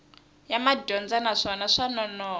ya madyondza naswona swa nonoha